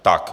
Tak.